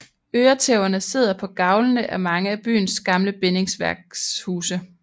Øretæverne sidder på gavlene af mange af byens gamle bindingsværkshuse